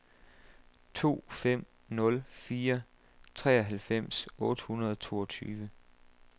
to fem nul fire treoghalvfems otte hundrede og toogtyve